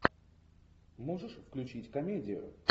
можешь включить комедию